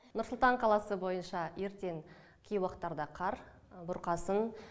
нұр сұлтан қаласы бойынша ертең кей уақыттарда қар бұрқасын